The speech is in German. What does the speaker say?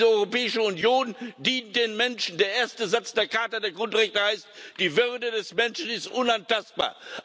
Und diese Europäische Union dient den Menschen der erste Satz der Charta der Grundrechte heißt Die Würde des Menschen ist unantastbar.